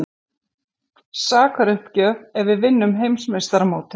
Sakaruppgjöf ef við vinnum Heimsmeistaramótið?